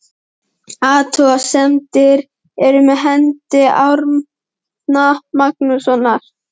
Athuga semdir eru með hendi Árna Magnússonar.